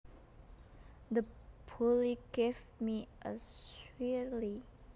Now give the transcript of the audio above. The bully gave me a swirlie